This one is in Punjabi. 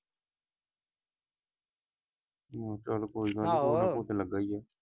ਉਹ ਚਲ ਕੋਈ ਨਾ ਆਹੋ, ਕੁਝ ਨਾ ਕੁਝ ਤੇ ਲਗਾ ਹੀ ਆ।